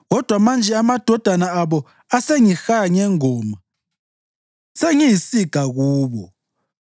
Kodwa manje amadodana abo asengihaya ngengoma; sengiyisiga kubo.